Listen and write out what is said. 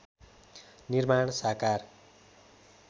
निर्माण साकार